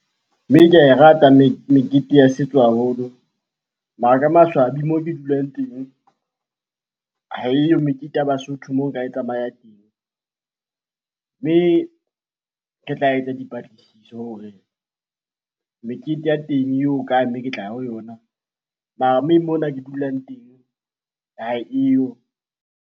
Mme ke ae rata mekete ya setso haholo mara ka maswabi moo ke dulang teng, haeyo mekete ya Basotho moo nka e tsamaya teng. Mme ke tla etsa dipatlisiso hore mekete ya teng e ho kae ke tla ya ho yona? Mara mme mona ke dulang teng haeyo.